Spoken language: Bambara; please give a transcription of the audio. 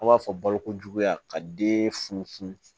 An b'a fɔ balokojuguya ka den funu funu